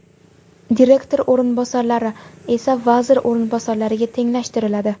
direktor o‘rinbosarlari esa vazir o‘rinbosarlariga tenglashtiriladi.